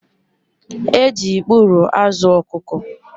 E ji ikpuru azụ ọkụkọ